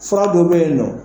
Fura dɔ be yen nɔ